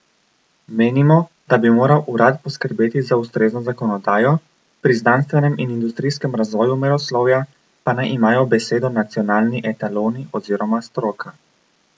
Menimo, da bi moral urad poskrbeti za ustrezno zakonodajo, pri znanstvenem in industrijskem razvoju meroslovja pa naj imajo besedo nacionalni etaloni oziroma stroka.